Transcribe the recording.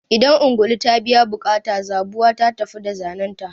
Idan ungulu ta biya buƙata, zabuwa ta tafi da zanenta.